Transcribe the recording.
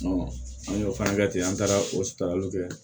an y'o fana kɛ ten an taara o saraliw kɛ